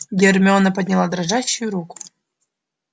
гермиона подняла дрожащую руку